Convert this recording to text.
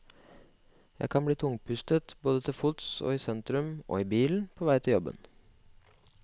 Jeg kan bli tungpustet både til fots i sentrum og i bilen på vei til jobben.